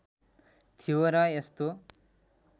थियो र यस्तो